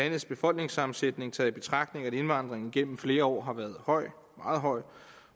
landets befolkningssammensætning taget i betragtning at indvandringen gennem flere år har været høj meget høj